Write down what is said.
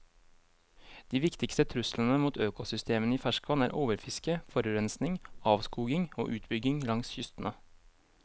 De viktigste truslene mot økosystemene i ferskvann er overfiske, forurensning, avskoging og utbygging langs kystene.